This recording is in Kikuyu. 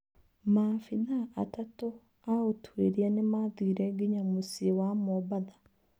Maabithaa atatũa ũtwĩria nĩmathire nginya mũciĩ wa Mombatha.